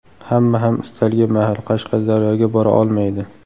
Hamma ham istalgan mahal Qashqadaryoga bora olmaydi.